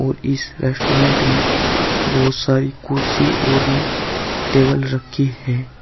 और इस रेस्टोरेंट मे बहुत सारी कुर्सी और टेबल रखी है।